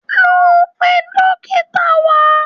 lọ pe dókítà wá!